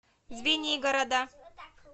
звенигорода